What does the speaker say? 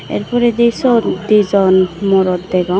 err poradi sot dijon morot degong.